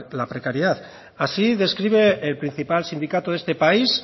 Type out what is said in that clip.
la precariedad así describe la principal sindicato de este país